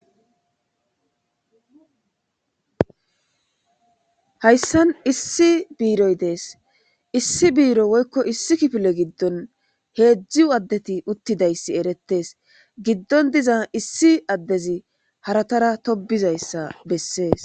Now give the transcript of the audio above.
hayssan issi biroy dees issi biiro woykko issi kifile giddon hezzu addeti uttidayssi erettes giddon diza issi addezi haratara tobizayssa bessees.